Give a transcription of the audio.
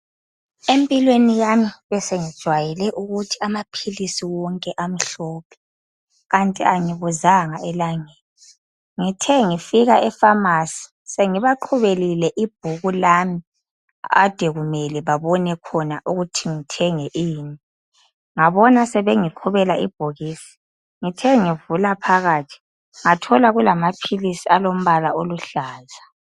Empilweni yami besengijwayele ukuthi amaphilisi wonke amhlophe kanty angibuzanga elangeni ngithe ngifika eFamasi sengibaqhubelile ibhuku lami kade kumele babone khona ukuthi ngithenge ini ngabona sebengiqhubela ibhokisi ngithe ngivula phakathi ngathola kulamaphilisi alombala oluhlaza.